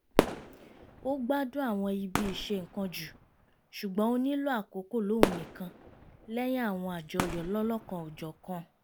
ó gbádùn àwọn ibi ìṣe-nǹkan jù ṣùgbọ́n ó nílò àkókò lóhun nìkan lẹ́yìn àwọn àjọyọ̀ lọ́lọ́kan-ò-jọ̀kan